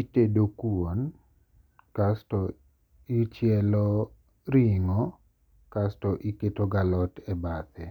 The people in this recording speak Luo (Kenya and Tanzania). Itedo kuon kasto ichielo ringo' kasto iketo gi alot e bathe,